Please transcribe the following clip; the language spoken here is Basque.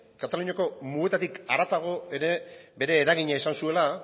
kataluniako mugetatik haratago ere bere eragina izan zuela